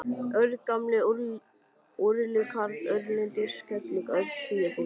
Örn gamli úrilli karl, Örn leiðindakerling, Örn fýlupoki.